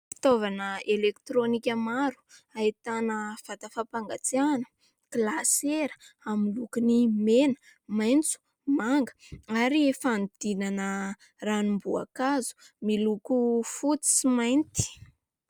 Fitaovana elektronika maro ahitana : vata fampangatsiahana, glasera amin'ny lokon'ny mena, maitso, manga ary fanodidinana ranom-boankazo miloko fotsy sy mainty.